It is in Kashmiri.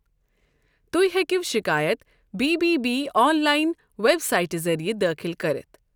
تُہۍ ہیكیو شكایت بی بی بی آن لاین ویب سایٹہِ ذریعہ دٲخل كرِتھ ۔